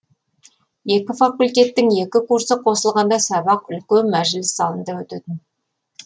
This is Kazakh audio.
екі факультеттің екі курсы қосылғанда сабақ үлкен мәжіліс залында өтетін